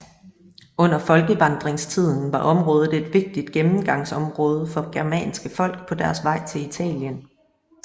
Under folkevandringstiden var området et vigtigt gennemgangsområde for germanske folk på deres vej til Italien